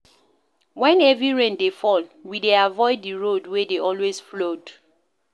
Wen heavy rain dey fall, we dey avoid di road wey dey always flood.